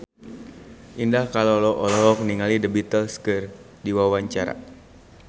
Indah Kalalo olohok ningali The Beatles keur diwawancara